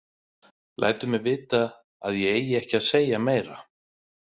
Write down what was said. Lætur mig vita að ég eigi ekki að segja meira.